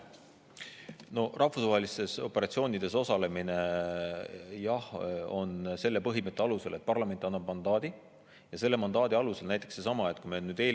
No rahvusvahelistes operatsioonides osalemine on jah selle põhimõtte alusel, et parlament annab mandaadi ja selle mandaadi alusel.